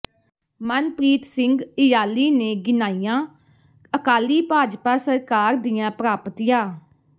ਮਨਪ੍ਰੀਤ ਸਿੰਘ ਇਯਾਲੀ ਨੇ ਗਿਣਾਈਆਂ ਅਕਾਲੀ ਭਾਜਪਾ ਸਰਕਾਰ ਦੀਆਂ ਪ੍ਰਾਪਤੀਆ